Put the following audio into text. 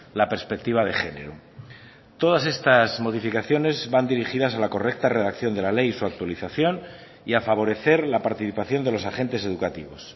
la perspectiva de género todas estas modificaciones van dirigidas a la correcta redacción de la ley y su actualización y a favorecer la participación de los agentes educativos